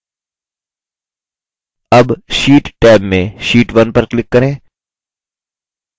tab sheet tab में sheet 1 पर click करें